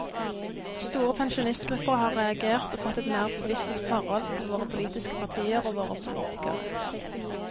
Store pensjonistgrupper har reagert og fått et mer bevisst forhold til våre politiske partier og våre politikere.